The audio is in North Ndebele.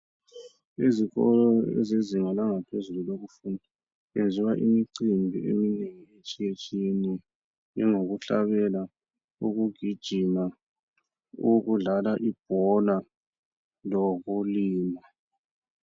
Ezikolo ezezinga langaphezulu lokufunda kwenziwa imicimbi eminengi etshiyetshiyeneyo njengokuhlabela ukugijima owokudlala ibhola lowokulima.